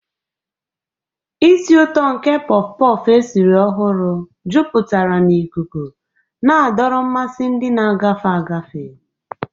Isii ụtọ nke porff-porff esiri ọhụrụ jupụtara n'ikuku, na-adọrọ mmasị ndị na-agafe agafe.